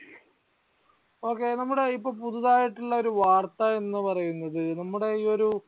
Okay നമ്മുടെ ഇപ്പോൾ പുതുതായിട്ടുള്ള ഒരു വാർത്ത എന്ന് പറയുന്നത് നമ്മുട ഈ ഒരു